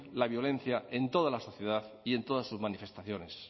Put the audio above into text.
la violencia en toda la sociedad y en todas sus manifestaciones